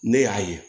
Ne y'a ye